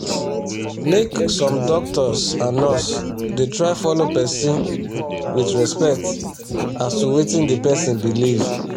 make sum doctors and nurse da try follow person with respect as to wetin d person believe